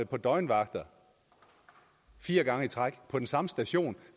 på døgnvagt fire gange i træk på den samme station